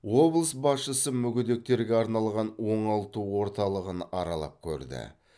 облыс басшысы мүгедектерге арналған оңалту орталығын аралап көрді